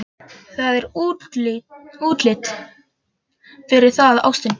Það er útlit fyrir það, ástin.